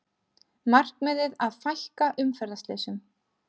Markmiðið að fækka umferðarslysum